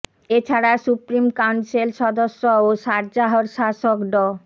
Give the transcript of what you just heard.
এ ছাড়া supreme council সদস্য ও সারজাহর শাসক ড